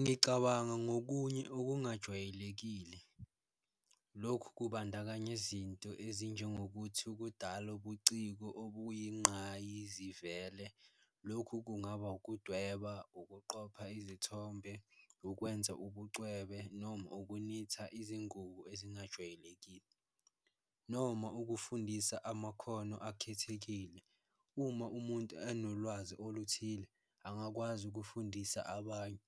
Ngicabanga ngokunye okungajwayelekile lokhu kubandakanya izinto ezinjengokuthi, ukudala ubuciko obuyingqayizivele lokhu kungaba ukudweba, ukuqopha izithombe, ukwenza ubucwebe noma ukunitha izingubo ezingajwayelekile, noma ukufundisa amakhono akhethekile. Uma umuntu anolwazi oluthile angakwazi ukufundisa abanye,